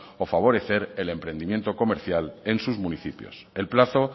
o favorecer el emprendimiento comercial en sus municipios el plazo